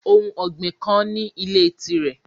Ohun ọgbin kan ni ile tirẹ